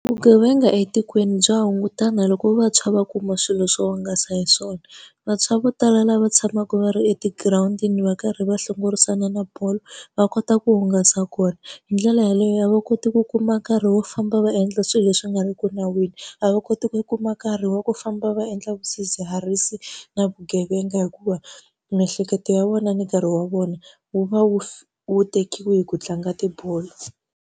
Vugevenga etikweni bya hungutana loko vantshwa va kuma swilo swo hungasa hi swona. Vantshwa vo tala lava tshamaka va ri etigirawundini va karhi va hlongorisana na bolo, va kota ku hungasa kona. Hi ndlela yaleyo a va koti ku kuma ka ri wo famba va endla swilo leswi nga ri ku nawini, a va koti ku kuma nkarhi wa ku famba va endla swidzidziharisi na vugevenga hikuva, miehleketo ya vona ni nkarhi wa vona wu va wu tekiwe hi ku tlanga tibolo.